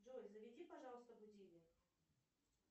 джой заведи пожалуйста будильник